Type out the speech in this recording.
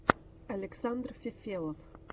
александр фефелов